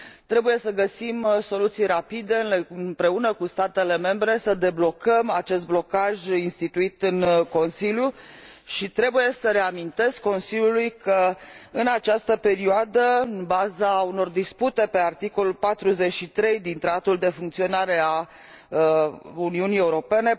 Trebuie să găsim soluții rapide, împreună cu statele membre, să deblocăm acest blocaj instituit în Consiliu și trebuie să reamintesc Consiliului că, în această perioadă, în baza unor dispute privind articolul 43 din Tratatul privind funcționarea Uniunii Europene,